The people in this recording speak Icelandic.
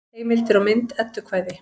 Heimildir og mynd Eddukvæði.